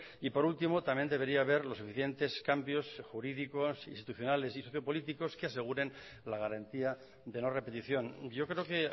y por último también debería haber los suficientes cambios jurídicos institucionales y sociopolíticos que aseguren la garantía de no repetición yo creo que